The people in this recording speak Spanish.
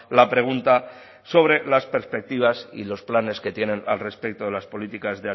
la pregunta sobre las perspectivas y los planes que tienen al respecto de las políticas